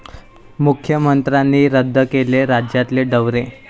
मुख्यमंत्र्यांनी रद्द केले राज्यातले दौरे